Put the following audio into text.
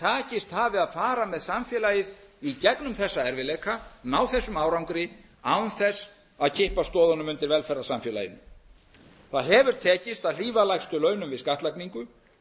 takist hafi að fara með samfélagið í gegnum þessa erfiðleika ná þessum árangri án þess að kippa stoðunum undan velferðarsamfélaginu það hefur tekist að hlífa lægstu launum við skattlagningu